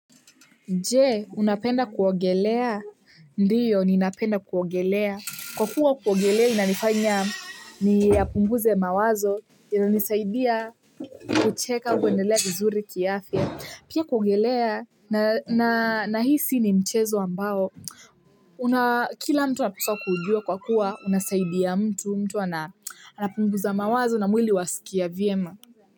Je, unapenda kuogelea? Ndiyo ninapenda kuogelea kwa kuwa kuogelea inanifanya niyapunguze mawazo inanisaidia kucheka kuendelea vizuri kiafya pia kuogelea na na nahisi ni mchezo ambao una kila mtu anapaswa kuujua kwa kuwa unasaidia mtu mtu anapunguza mawazo na mwili wasikiya vyema.